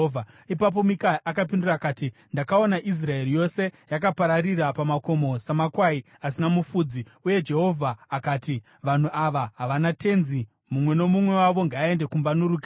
Ipapo Mikaya akapindura akati, “Ndakaona Israeri yose yakapararira pamakomo samakwai asina mufudzi, uye Jehovha akati, ‘Vanhu ava havana tenzi. Mumwe nomumwe wavo ngaaende kumba norugare.’ ”